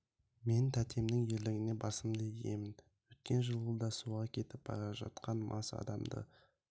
мен тәтемнің ерлігіне басымды иемін өткен жылы да суға кетіп бара жатқан мас адамды